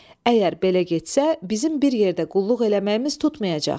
Əgər belə getsə, bizim bir yerdə qulluq eləməyimiz tutmayacaq.